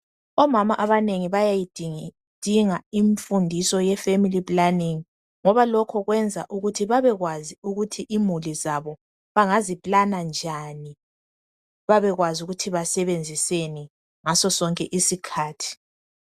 Omama abanengi bayayidinga imfundiso ye family planning ngoba lokho kwenza ukuthi babekwazi ukuthi imuli zabo bangazi plana njani babekwazi ukuthi basebenziseni ngaso sonke isikhathi